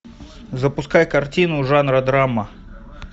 запускай картину жанра драма